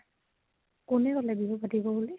কোনে কলে বিহু পাতিব বুলি?